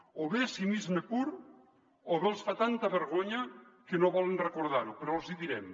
o bé és cinisme pur o bé els fa tanta vergonya que no volen recordar·ho però els hi direm